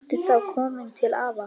Ertu þá kominn til afa?